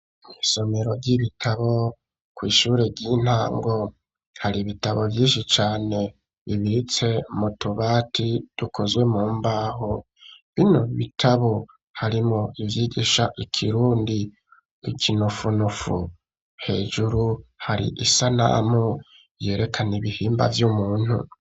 Isomero ry'ibitabo kw'ishure ry'intango, hari ibitabo vyinshi cane bibitse mu tubati dukozwe mu mbaho, bino bitabo harimwo ivyigisha ikirundi, ikinofunofu, hejuru hari isanamu yerekana ibihimba vy'umuntu.